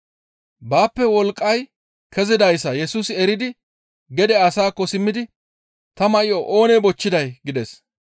Baappe wolqqay kezidayssa Yesusi eridi gede asaakko simmidi, «Ta may7o oonee bochchiday?» gides.